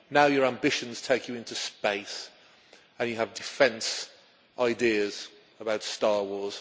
Now your ambitions take you into space and you have defence ideas about Star Wars.